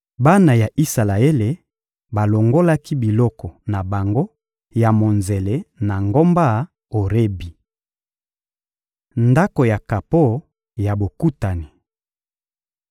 Bana ya Isalaele balongolaki biloko na bango ya monzele na ngomba Orebi. Ndako ya kapo ya Bokutani